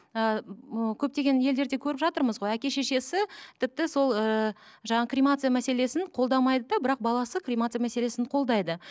і ы көптеген елдерде көріп жатырмыз ғой әке шешесі тіпті сол ыыы жаңа кремация мәселесін қолдамайды да бірақ баласы кремация мәселесін қолдайды